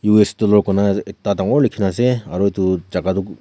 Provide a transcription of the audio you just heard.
U_S dollar koi kena ek da denkoner lekhe kena ase aro etu jaika tue--